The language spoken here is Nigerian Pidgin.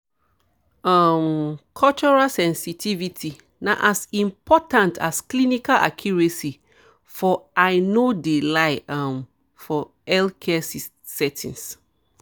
um cultural sensitivity na as important as clinical accuracy for i no de lie um healthcare settings.